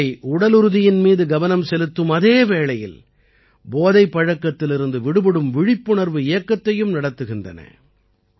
இவை உடலுறுதியின் மீது கவனம் செலுத்தும் அதே வேளையில் போதைப் பழக்கத்திலிருந்து விடுபடும் விழிப்புணர்வு இயக்கத்தையும் நடத்துகின்றன